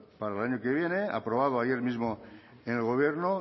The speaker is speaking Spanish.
para el año que viene aprobado ayer mismo en el gobierno